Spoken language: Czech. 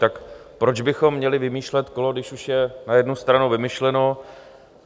Tak proč bychom měli vymýšlet kolo, když už je na jednu stranu vymyšleno?